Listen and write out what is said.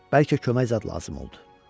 Bəlkə kömək zad lazım oldu.